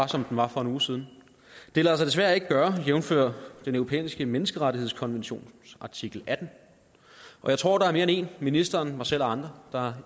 som den var for en uge siden det lader sig desværre ikke gøre jævnfør den europæiske menneskerettighedskonventions artikel attende jeg tror der er mere end en ministeren mig selv og andre der har